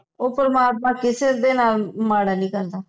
ਓ ਪਰਮਾਤਮਾ ਕਿਸੇ ਦੇ ਨਾਲ ਮਾੜਾ ਨੀ ਕਰਦਾ